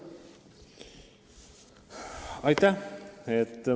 Aitäh!